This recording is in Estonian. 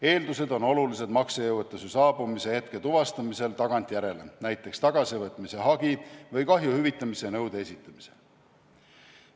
Eeldused on olulised maksejõuetuse saabumise hetke tuvastamisel tagantjärele, näiteks tagasivõtmise hagi või kahju hüvitamise nõude esitamisel.